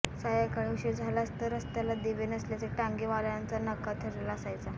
सायंकाळी उशीर झालाच तर रस्त्याला दिवे नसल्याने टांगेवाल्यांचा नकार ठरलेला असायचा